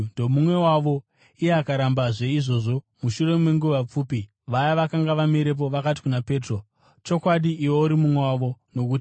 Iye akarambazve izvozvo. Mushure menguva pfupi, vaya vakanga vamirepo vakati kuna Petro, “Chokwadi, iwe uri mumwe wavo, nokuti uri muGarirea.”